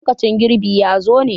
lokacin girbi ya zo ñe?